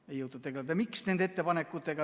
Miks ei jõutud nende ettepanekutega tegeleda?